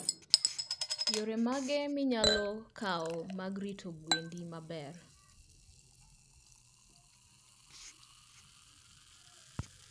yore mage minyalo kao mag rito gwendi maber?